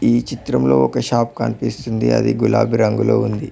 ఈ చిత్రంలో ఒక షాప్ కనిపిస్తుంది అది గులాబి రంగులో ఉంది.